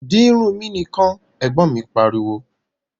Di irun mi nìkan! Ẹ̀gbọ́n mi pariwo